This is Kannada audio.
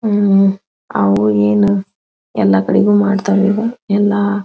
ಉಹ್ಹ್ ಅವು ಏನ್ ಎಲ್ಲ ಕಡೆಗೂ ಮಾಡ್ತರ್ ಇವು ಎಲ್ಲ --